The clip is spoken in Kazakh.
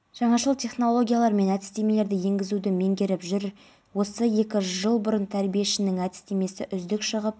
осы аймақтарда алдағы үш тәулікте атмосфералық фронттардың өтуімен байланысты ыстықтың төмендеуі күтіледі кей жерлерде өткінші жаңбыр найзағай жарқылдап дауылды жел соғып